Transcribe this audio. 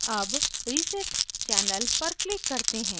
अब reset channel पर click करते हैं